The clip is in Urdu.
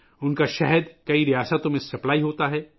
ان کا شہد کئی ریاستوں میں سپلائی کیا جاتا ہے